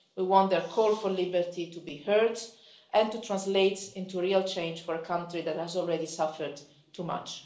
We want their call for liberty to be heard and to translate into real change for a country that has already suffered too much.